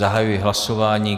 Zahajuji hlasování.